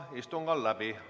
Istung on läbi.